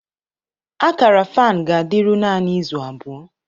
Akara fan ga-adịru naanị izu abụọ